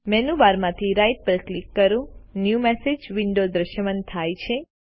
menu bar માંથી right પર click કરો ન્યૂ મેસેજ વિન્ડો દ્રશ્યમાન થાય છે